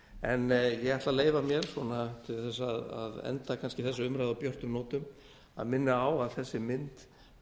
en ég ætla að leyfa mér svona til þess að enda kannski þessa umræðu á björtum nótum að minna á það þessi mynd